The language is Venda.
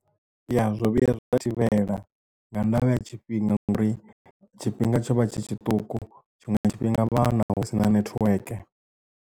Ya zwo vhuya zwa thivhela nga ndavha ya tshifhinga nga uri tshifhinga tsho vha tshi tshiṱuku tshiṅwe tshifhinga vha hone na hu sina network.